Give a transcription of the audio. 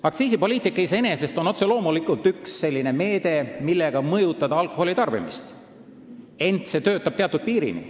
Aktsiisipoliitika iseenesest on otse loomulikult üks selline meede, millega saab alkoholitarbimist mõjutada, ent see töötab teatud piirini.